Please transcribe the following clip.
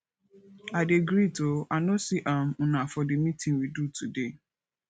i dey greet oo i no see um una for the meeting we do today